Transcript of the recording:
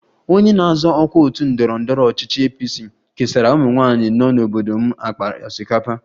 Onye na-azọ ọkwa otu ndọrọ ndọrọ ọchịchị APC kesara ụmụnwaanyị nọ n'obodo m akpa osikapa